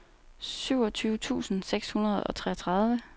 syvogtyve tusind seks hundrede og treogtredive